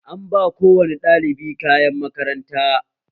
An ba ko wane ɗalibi kayan makaranta